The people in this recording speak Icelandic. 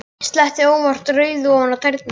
Sletti óvart rauðu ofan á tærnar.